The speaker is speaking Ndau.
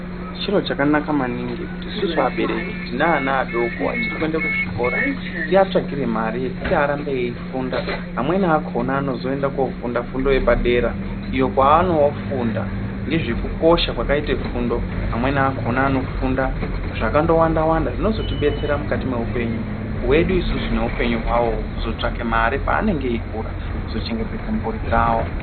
Chiro chakanaka maningi kuti isusu abereki tine vana vachiri kuenda kuzvikora tivatsvakire mare yekuti varambe veifunda vamweni vakona vozoenda kunofunda fundo yepadera iyo kwaanofunda nezvekukosha kwakaite fundo amweni akona anofunda zvakangowanda zvinozotibetsera mukati meupenyu hwedu isusu neupenyu hwavowo kuzotsvake mare pavanenge veikura kuzochengetedza mhuri dzavo.